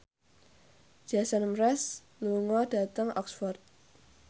Jason Mraz lunga dhateng Oxford